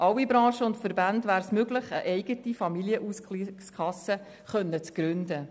Allen Branchen und Verbänden wäre es möglich, eine eigene Familienausgleichskasse zu gründen.